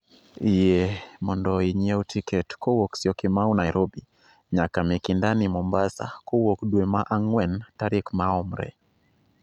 Yie mondo inyiew tiket kowuok syokimau nairobi nyaka mikindani mombasa kowuok dwe ma ang'wen tarik maomre